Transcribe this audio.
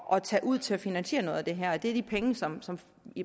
at tage ud til at finansiere noget af det her det er de penge som som